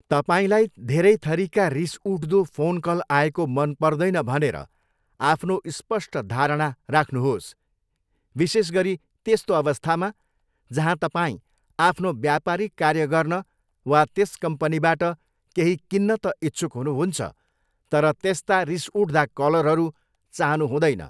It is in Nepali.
तपाईँलाई धेरै थरीका रिस उठ्दो फोनकल आएको मन पर्दैन भनेर आफ्नो स्पष्ट धारणा राख्नुहोस्, विशेषगरी त्यस्तो अवस्थामा जहाँ तपाईँ आफ्नो व्यापारिक कार्य गर्न वा त्यस कम्पनीबाट केही किन्न त इच्छुक हुनुहुन्छ तर त्यस्ता रिस उठ्दा कलरहरू चाहनु हुँदैन।